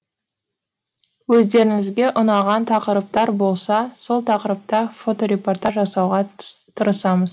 өздеріңізге ұнаған тақырыптар болса сол тақырыпта фоторепортаж жасауға тырысамыз